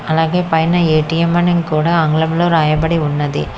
అలాగే పైన ఏ_టీ_ఎం అని కూడా ఆంగ్లంలో రాయబడి ఉన్నది.